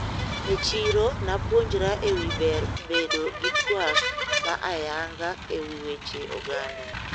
E chiro napuonjra ewi ber bedo gi twak ma ayanga ewi weche oganda.